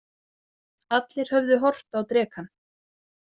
Allir höfðu horft á drekann.